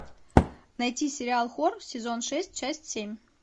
найти сериал хор сезон шесть часть семь